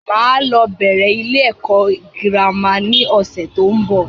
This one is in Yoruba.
Máa lọ bẹ̀rẹ̀ ilé ẹ̀kọ́ girama ni ọ̀sẹ̀ tó ń bọ̀